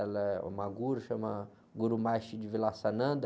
Ela é uma guru, chama guru.